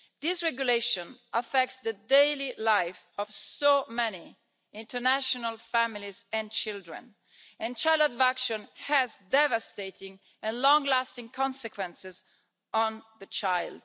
This regulation affects the daily life of so many international families and children and child abduction has devastating and long-lasting consequences on the child.